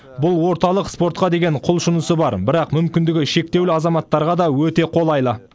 бұл орталық спортқа деген құлшынысы бар бірақ мүмкіндігі шектеулі азаматтарға да өте қолайлы